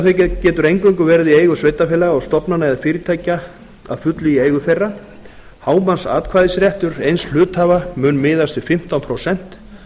hlutafé getur eingöngu verið í eigu hlutafélaga og stofnana eða fyrirtækja að fullu í eigu þeirra hámarksatkvæðisréttur eins hluthafa mun miðast við fimmtán prósent